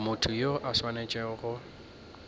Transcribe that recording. motho yo a swanetšego go